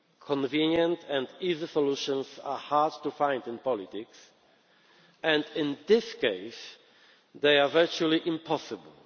it. Convenient and easy solutions are hard to find in politics, and in this case they are virtually impossible.